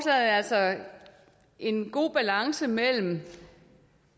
har altså en god balance mellem